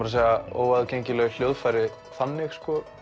að segja óaðgengileg hjóðfæri þannig